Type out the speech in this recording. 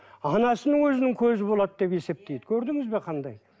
анасының өзінің көзі болады деп есептейді көрдіңіз бе қандай